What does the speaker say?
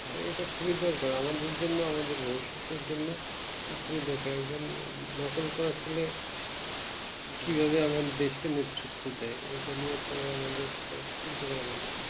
এইটা কি দরকার আমাদের জন্য আমাদের ভবিষতের জন্য খুবই দরকার একজন নকল করার ছেলে কি ভাবে আমার দেশ কে নেতৃত্ব দেয় এটা নিয়ে তো আমাদের তো চিন্তা করা উচিত